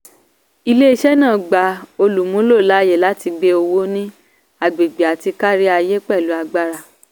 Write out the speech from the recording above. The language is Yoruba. ilé-iṣẹ́ náà gba olúmúló láàyè láti gbe owó ní agbègbè àti káríayé pẹ̀lú agbára.